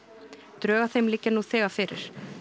drög að þeim liggja nú þegar fyrir